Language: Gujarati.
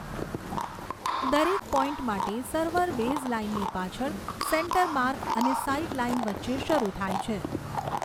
દરેક પોઇન્ટ માટે સર્વર બેઝલાઇનની પાછળ, સેન્ટર માર્ક અને સાઇડલાઇન વચ્ચે શરૂ થાય છે.